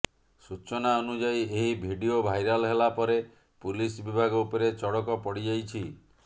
ସୂଚନା ଅନୁଯାୟୀ ଏହି ଭିଡିଓ ଭାଇରାଲ୍ ହେଲାପରେ ପୁଲିସ୍ ବିଭାଗ ଉପରେ ଚଡ଼କ ପଡ଼ିଯାଇଛି